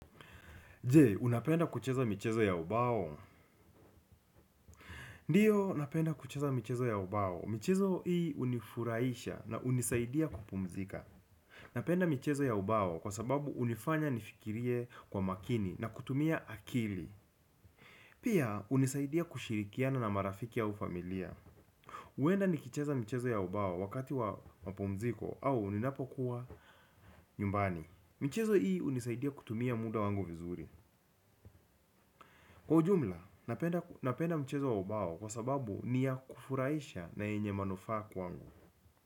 Je, unapenda kucheza michezo ya ubao? Ndio, napenda kucheza michezo ya ubao. Michezo hii hunifurahisha na hunisaidia kupumzika. Napenda michezo ya ubao kwa sababu hunifanya nifikirie kwa makini na kutumia akili. Pia, hunisaidia kushirikiana na marafiki au familia. Huenda nikicheza michezo ya ubao wakati wa mapumziko au ninapokuwa nyumbani. Michezo hii hunisaidia kutumia muda wangu vizuri. Kwa ujumla, napenda mchezo wa ubao kwa sababu ni ya kufurahisha na yenye manufaa kwangu.